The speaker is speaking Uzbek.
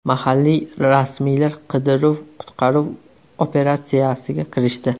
Mahalliy rasmiylar qidiruv-qutqaruv operatsiyasiga kirishdi.